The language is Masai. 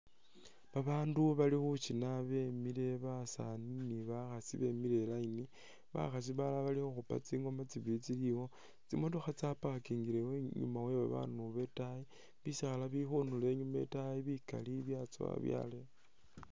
Ba bandu bali khushina be mile basani ni bakhasi bemile i line, bakhasi balala bali khukhupa tsingoma tsibili tsili iwo, tsimotokha tsa parkingile inyuma we ba bandu bo itayi, bisaala bili khundulo inyuma itaayi bikali bya tsowa byaleya.